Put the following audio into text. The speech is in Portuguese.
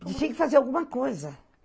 Tinha que fazer alguma coisa.